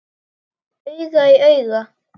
Auga í auga.